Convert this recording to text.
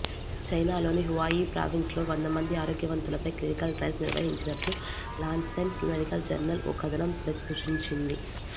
చైనాలోని హువాయి ప్రావిన్స్లో వంద మంది ఆరోగ్యవంతులపై క్లినికల్ ట్రయల్స్ నిర్వహించినట్లు లాన్సెట్ మెడికల్ జర్నల్ ఓ కథనం ప్రచురించింది